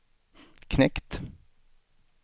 knekt